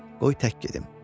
"Qoy tək gedim.